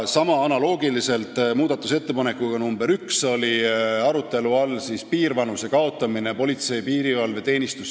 Analoogiliselt muudatusettepanekuga nr 1 on siin arutelu all piirvanuse kaotamine politsei ja piirivalve seaduses.